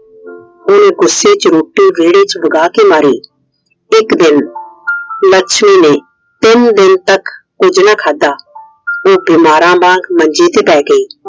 ਉਹਨੇ ਗੁੱਸੇ ਚ ਰੋਟੀ ਵਿਹੜੇ ਚ ਵਗਾਹ ਕੇ ਮਾਰੀ। ਇੱਕ ਦਿਨ ਲੱਛਮੀ ਨੇ ਤਿੰਨ ਦਿਨ ਤੱਕ ਕੁਛ ਨਾ ਖਾਧਾ। ਉਹ ਬਿਮਾਰਾਂ ਵਾਂਗ ਮੰਜੇ ਤੇ ਪੈ ਗਈ।